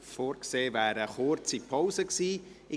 Vorgesehen wäre eine kurze Pause gewesen.